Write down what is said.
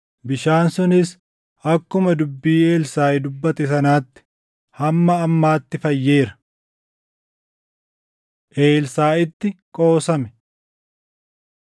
Bishaan sunis akkuma dubbii Elsaaʼi dubbate sanaatti hamma ammaatti fayyeera. Elsaaʼitti Qoosame